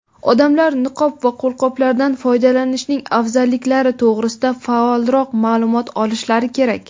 odamlar niqob va qo‘lqoplardan foydalanishning afzalliklari to‘g‘risida faolroq ma’lumot olishlari kerak.